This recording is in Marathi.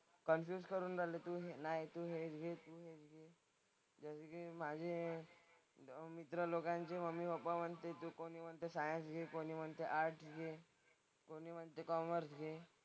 कन्फ्युज करून झालं की नाही तू हेच घे तेच घे. जसं की माझे मित्र लोकांचे मम्मी-पप्पा म्हणतायत की कोणी म्हणतं सायन्स घे, कोणी म्हणतं आर्टस् घे, कोणी म्हणते कॉमर्स घे.